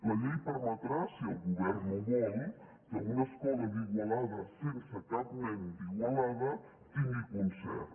la llei permetrà si el govern no ho vol que una escola d’igualada sense cap nen d’igualada tingui concert